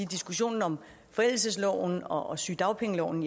diskussionen om forældelsesloven og og sygedagpengeloven